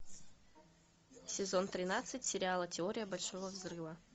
сезон тринадцать сериала теория большого взрыва